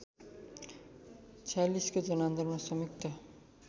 ०४६को जनआन्दोलनमा संयुक्त